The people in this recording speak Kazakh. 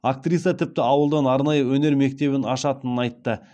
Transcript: актриса тіпті ауылдан арнайы өнер мектебін ашатынын айтты